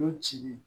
Nun ci